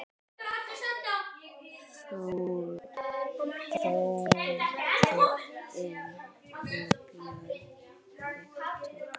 Þórður Emi og Björn Viktor